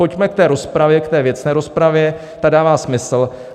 Pojďme k té rozpravě, k té věcné rozpravě, ta dává smysl.